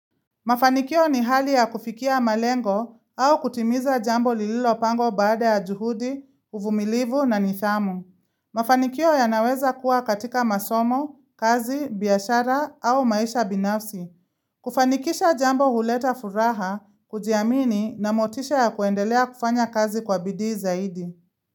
Mafanikio ni hali ya kufikia malengo au kutimiza jambo lililo pangwa baada ya juhudi, uvumilivu na nithamu. Mafanikio ya naweza kuwa katika masomo, kazi, biashara au maisha binafsi. Kufanikisha jambo huleta furaha, kujiamini na motisha ya kuendelea kufanya kazi kwa bidii zaidi.